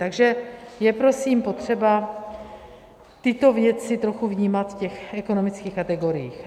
Takže je prosím potřeba tyto věci trochu vnímat v těch ekonomických kategoriích.